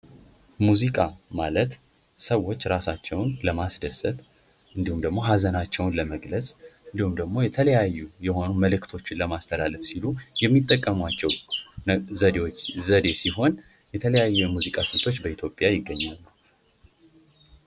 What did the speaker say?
ሙዚቃ ማለት ሰዎች ራሳቸውን ለማስደሰት እንዲሁም ደግሞ ሃዘናቸውን ለመግለጽ እንዲሁም ደግሞ የተለያዩ የሆኑ መልእክቶችን ለማስተላለፍ ሲሉ የሚጠቀሙዋቸው ዘዴ ሲሆን የተለያየ የሙዚቃ ስልቶች በኢትዮጵያ ይገኛሉ ።